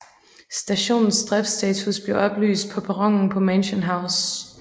Stationens driftstatus bliver oplyst på perronen på Mansion House